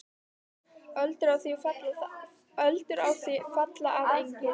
Öldur á því falla að engu.